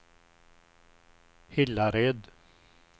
Hillared